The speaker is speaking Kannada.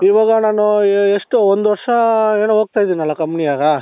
ಇವಾಗ ನಾನು ಎಷ್ಟು ಒಂದು ವರ್ಷ ಹೇಳ್ ಹೋಗ್ತಾ ಇದ್ದೀನಲ್ಲ company ನಾಗ